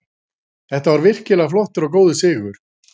Þetta var virkilega flottur og góður sigur.